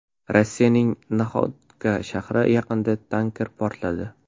Rossiyaning Naxodka shahri yaqinida tanker portladi.